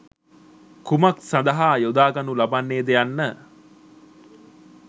කුමක් සඳහා යොදා ගනු ලබන්නේ ද යන්න